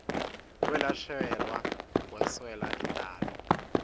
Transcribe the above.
kwelashelwa kweswela intalo